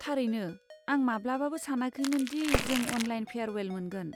थारैनो, आं माब्लाबाबो सानाखैमोन दि जों अनलाइन फेयारवेल मोनगोन।